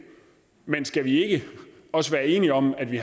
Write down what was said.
men skal vi ikke også være enige om at vi